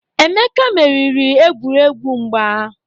Emeka meriri egwuregwu mgba.